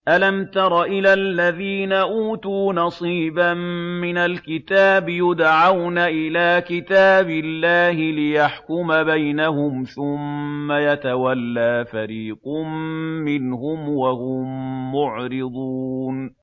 أَلَمْ تَرَ إِلَى الَّذِينَ أُوتُوا نَصِيبًا مِّنَ الْكِتَابِ يُدْعَوْنَ إِلَىٰ كِتَابِ اللَّهِ لِيَحْكُمَ بَيْنَهُمْ ثُمَّ يَتَوَلَّىٰ فَرِيقٌ مِّنْهُمْ وَهُم مُّعْرِضُونَ